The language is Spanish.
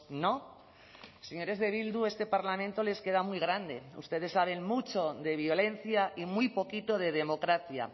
no señores de bildu este parlamento les queda muy grande ustedes saben mucho de violencia y muy poquito de democracia